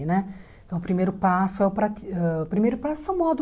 Né? Então, o primeiro passo é o prati ãh o primeiro passo são